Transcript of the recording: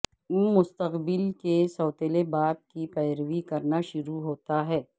وہ مستقبل کے سوتیلے باپ کی پیروی کرنا شروع ہوتا ہے